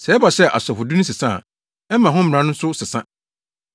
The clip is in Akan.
Sɛ ɛba sɛ asɔfodi no sesa a, ɛma ho mmara no nso sesa.